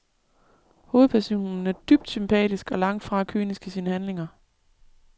Hovedpersonen er dybt sympatisk og langt fra kynisk i sine handlinger.